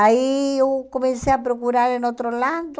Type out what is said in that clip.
Aí eu comecei a procurar em outro lado,